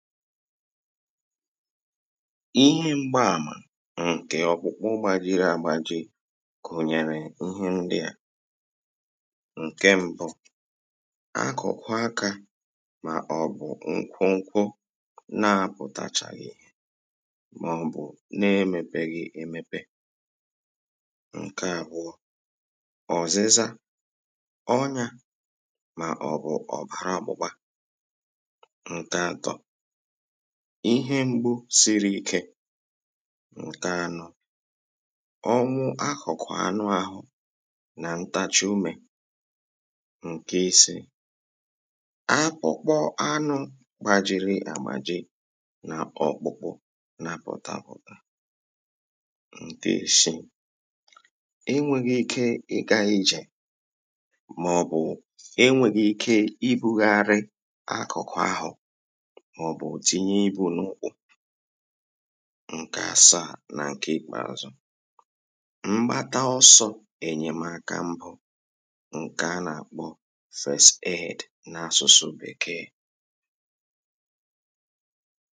ịhe m̀gba àmà ǹkè ọ̀kpụkpụ gbajiri àgba ji gùnyèrè ihe ndi yȧ. ǹke m̀bụ, àkụ̀kwa akȧ, mà ọ̀bụ̀ nkwunkwu na-apụ̀tachàghị̀, èhè mà ọ̀bụ̀ na-emepeghị̇ èmepe. ǹkè àbụ̀ọ ọ̀zịza, ọnyȧ, mà ọ̀bụ̀ ọ̀bàrà ọkpụ̇kpȧ. nke atọ, ihe mgbu siri ike. nke anọ, ọnwụ akụkụ anụ ahụ na ntachi ume. nke isiì, akpụkpọ anụ gbajiri agbaji na ọkpụkpụ na pultaputa. nke isiì, enweghị ike ịga ije, maọbụ enweghị ike ibugharị akụkụ ahụ. ǹkè àsà nà ǹkè ikpè azụ̀, mgbata ọsọ ènyèmaka mbụ ǹke a nà-àkpọ first aid n’asụsụ bekee.